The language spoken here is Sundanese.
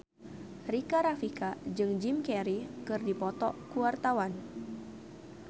Rika Rafika jeung Jim Carey keur dipoto ku wartawan